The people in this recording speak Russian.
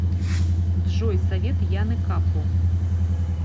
джой совет яны капу